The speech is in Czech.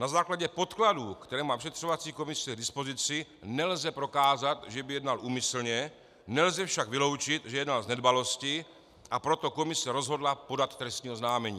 Na základě podkladů, které má vyšetřovací komise k dispozici, nelze prokázat, že by jednal úmyslně, nelze však vyloučit, že jednal z nedbalosti, a proto komise rozhodla podat trestní oznámení.